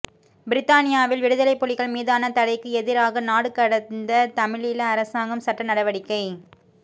பிரித்தானியாவில் விடுதலைப் புலிகள் மீதான தடைக்கு எதிராக நாடுகடந்த தமிழீழ அரசாங்கம் சட்டநடவடிக்கை